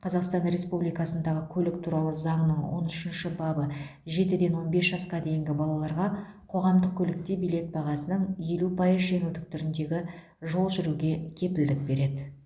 қазақстан республикасындағы көлік туралы заңның он үшінші бабы жетіден он бес жасқа дейінгі балаларға қоғамдық көлікте билет бағасынан елу пайыз жеңілдік түріндегі жол жүруге кепілдік береді